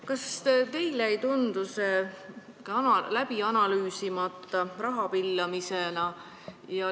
Kas teile ei tundu see läbi analüüsimata raha pillamisena?